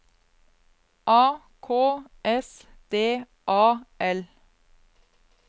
A K S D A L